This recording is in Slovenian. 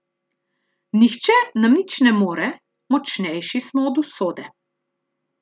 Nihče nam nič ne more, močnejši smo od usode.